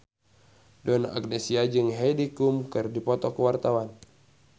Donna Agnesia jeung Heidi Klum keur dipoto ku wartawan